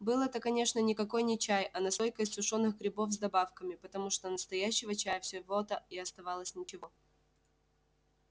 был это конечно никакой не чай а настойка из сушёных грибов с добавками потому что настоящего чая всего-то и оставалось ничего